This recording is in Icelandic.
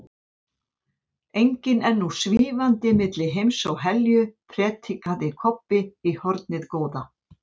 Fanginn er nú SVÍFANDI MILLI HEIMS OG HELJU, predikaði Kobbi í hornið góða.